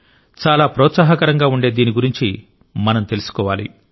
చాలా ప్రోత్సాహకరంగా ఉండే దీని గురించి మనం తెలుసుకోవాలి